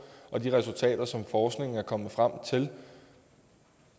og de resultater som forskningen er kommet frem til